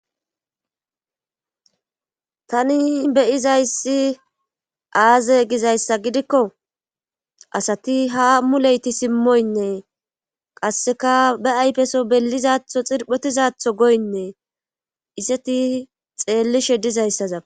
tani beyizayssi aaze gizayssa gidikko asati ha muleyti simmoynne qasseka be ayfeso bellizatho xirphotizatho goynne iseti xeellishe dizayssaza